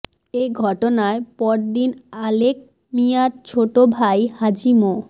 এ ঘটনায় পরদিন আলেক মিয়ার ছোট ভাই হাজী মো